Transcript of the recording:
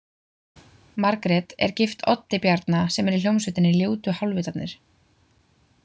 Margrét er gift Oddi Bjarna sem er í hljómsveitinni Ljótu Hálvitarnir.